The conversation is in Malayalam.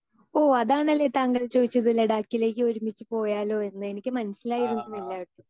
സ്പീക്കർ 2 ഓ അതാണല്ലേ താങ്കൾ ചോദിച്ചത് ലഡാക്കിലേക്ക് ഒരുമിച്ച് പോയാലോ എന്ന് എനിക്ക് മനസ്സിലായിരുന്നില്ല.